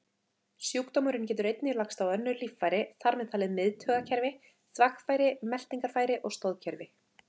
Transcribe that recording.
Sjúkdómurinn getur einnig lagst á önnur líffæri, þar með talið miðtaugakerfi, þvagfæri, meltingarfæri og stoðkerfi.